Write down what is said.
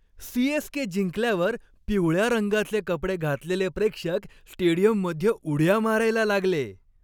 CSK. जिंकल्यावर पिवळ्या रंगाचे कपडे घातलेले प्रेक्षक स्टेडियममध्ये उड्या मारायला लागले.